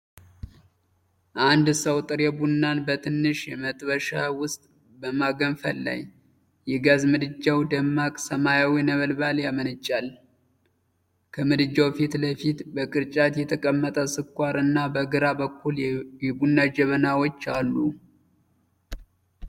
አንድ ሰው ጥሬ ቡናን በትንሽ መጥበሻ ውስጥ በማገንፈል ላይ። የጋዝ ምድጃው ደማቅ ሰማያዊ ነበልባል ያመነጫል። ከምድጃው ፊት ለፊት በቅርጫት የተቀመጠ ስኳር እና በግራ በኩል የቡና ጀበናዎች አሉ።